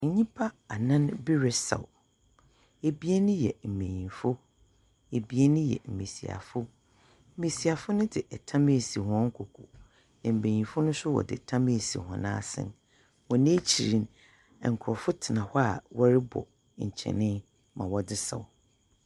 Nyimpa anan bi resaw. Ebien yɛ mbeyinfo, ebien yɛ mbesiafo. Mbesiafo no dze tam esi hɔn kokow. Mbenyinfo no nso wɔdze tam esi hɔn asen. Hɔn ekyir no, nkorɔfo tsena hɔ a wɔrobɔ nkyen ma wɔdze saw.